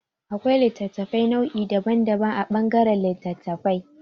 Akwai littattafai nau'i daban daban a ɓangaran littattafai.